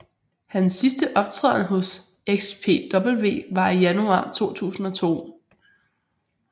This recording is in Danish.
Hans sidste optræden hos XPW var i januar 2002